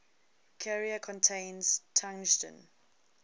carrier contains tungsten